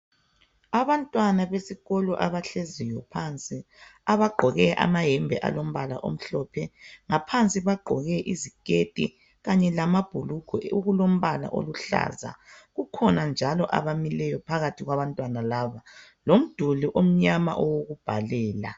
Abantwana besikolo abahleziyo phansi abagqoke amayembe alombala omhlophe. Ngaphansi bagqoke iziketi kanye lama amabhulugwe alombala oluhlaza. Kukhona njalo abamileyo phakathi kwabantwana laba lomduli omnyama wokubhalela.